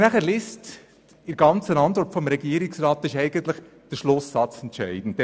In der Antwort des Regierungsrats ist eigentlich der Schlusssatz entscheidend: